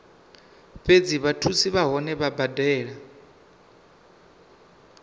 fhedzi vhathusi vhohe vha badela